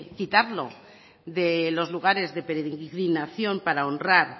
quitarlo de los lugares de peregrinación para honrar